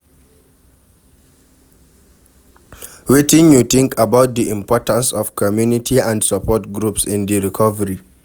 Wetin you think about di importance of community and support groups in di recovery?